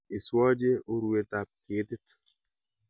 Iswoche urwetab ketit